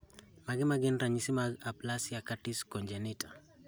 Mage magin ranyisi mag Aplasia cutis congenita